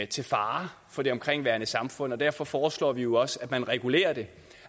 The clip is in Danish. til fare for det omkringliggende samfund og derfor foreslår vi jo også at man regulerer det